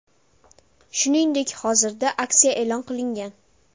Shuningdek, hozirda aksiya e’lon qilingan.